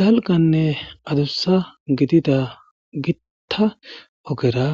dalganne adussa gidida gitta ogera